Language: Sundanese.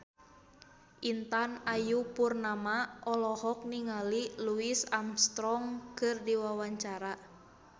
Intan Ayu Purnama olohok ningali Louis Armstrong keur diwawancara